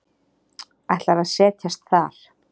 Ætlar að set jast þar.